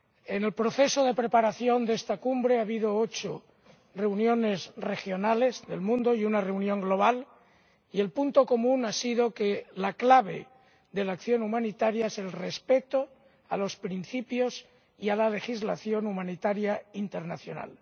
En el proceso de preparación de esta Cumbre ha habido ocho reuniones regionales en todo el mundo y una reunión global y el punto común ha sido que la clave de la acción humanitaria es el respeto de los principios y de la legislación humanitaria internacional.